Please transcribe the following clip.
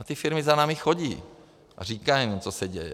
A ty firmy za námi chodí a říkají nám, co se děje.